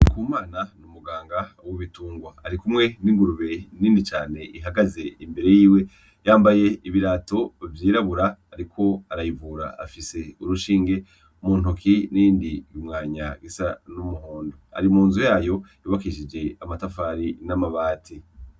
Ndikumana n'umuganga w'ibitungwa, arikumwe n'ingurube nini cane ihagaze imbere yiwe, yambaye ibirato vyirabura, ariko arayivura, afise urushinge mu ntoki n'iyindi mwanya isa n'umuhondo, ari mu nzu yayo yubakishije amatafari n'amabati.